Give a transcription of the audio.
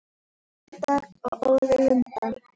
Eldar og óðir vindar